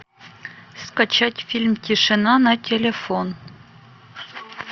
скачать фильм тишина на телефон